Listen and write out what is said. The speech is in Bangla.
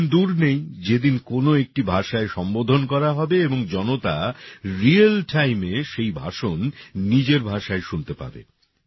ওই দিন দূর নেই যেদিন কোন একটি ভাষায় সম্বোধন করা হবে এবং জনতা রিয়াল timeএ সেই ভাষণ নিজের ভাষায় শুনতে পাবে